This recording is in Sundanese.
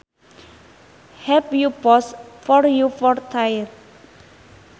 Have you posed for your portrait